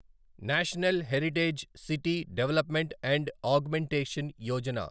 national heritage city development and augmentation Yojana